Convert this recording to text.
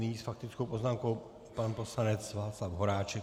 Nyní s faktickou poznámkou pan poslanec Václav Horáček.